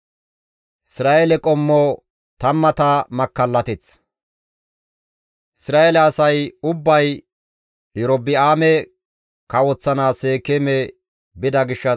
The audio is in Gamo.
Isra7eele asay ubbay Erobi7aame kawoththanaas Seekeeme bida gishshas izikka hee bides.